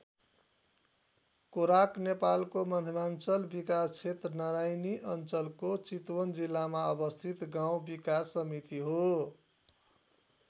कोराक नेपालको मध्यमाञ्चल विकासक्षेत्र नारायणी अञ्चलको चितवन जिल्लामा अवस्थित गाउँ विकास समिति हो।